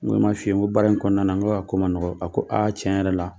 N ko n ma f'i ye n ko baara in kɔnɔna na n ko ako ma nɔgɔ a ko aa tiɲɛ yɛrɛ la